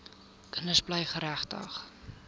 kinders bly geregtig